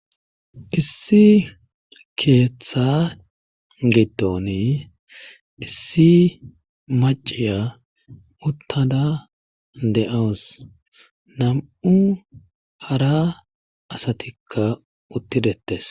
Issi keeththa giidon issi maciya uttada dee'awus. nam7u hara asatikka utti dettes.